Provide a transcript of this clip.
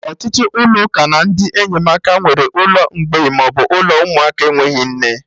Ọtụtụ ụlọ ụka na ndị enyemaka nwere ụlọ mgbei maọbụ ụlọ ụmụaka enweghị nne